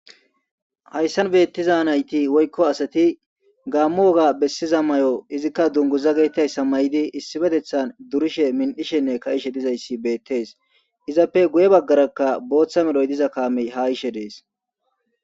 hayssan beettiza nayti woykko asati gaammo woga bessiza mayo izikka dunguza getetizaysa mayidi issibetethan durishe min'ishenne ka'ishe dizayssi beettees izappe guye baggarakka booththa meloy diza kaamey ha yishe dees.